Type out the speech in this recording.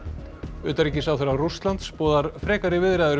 utanríkisráðherra Rússlands boðar frekari viðræður við